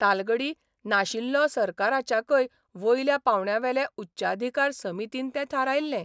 तालगडी नाशिल्लों सरकाराच्याकय वयल्या पावंड्यावेले उच्चाधिकार समितीन तें थारायल्ले.